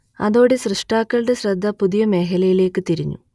അതോടെ സൃഷ്ടാക്കളുടെ ശ്രദ്ധ പുതിയ മേഖലയിലേക്കു തിരിഞ്ഞു